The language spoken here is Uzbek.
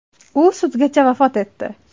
U sudgacha vafot etdi.